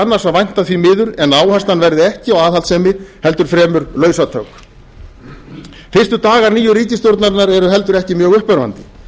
annars að vænta því miður en áherslan verði ekki á aðhaldssemi heldur fremur lausatök fyrstu dagar nýju ríkisstjórnarinnar eru heldur ekki mjög uppörvandi